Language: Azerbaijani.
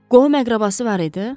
Qohum əqrəbası var idi?